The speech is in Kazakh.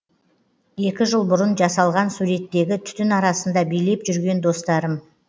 екі жыл бұрын жасалған суреттегі түтін арасында билеп жүрген достарым